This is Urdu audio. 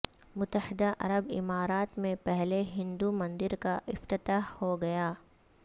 متحدہ عرب امارات میں پہلے ہندو مندر کا افتتاح ہوگیا